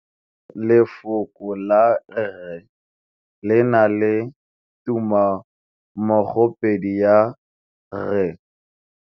Lefoko la rre le na le tumammogôpedi ya, r.